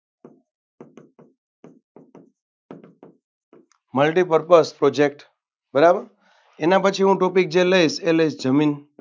multipurpuse project બરાબર એના પછી હું topic જે લઇશ એ લઇશ જમીન.